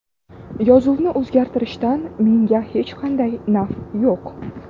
Yozuvni o‘zgartirishdan menga hech qanday naf yo‘q”.